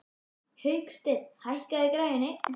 Hauksteinn, hækkaðu í græjunum.